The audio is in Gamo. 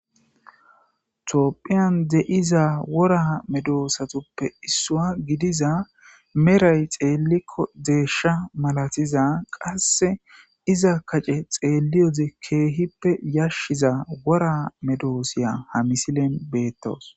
Topphiyan de7iza wora medoosatuppe issua gidiza meray xeellikko deeshsha malatiza qasse iza kace xeelliyode keehippe yashshiza wora medoosiya ha misilen beettoos